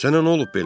Sənə nə olub belə?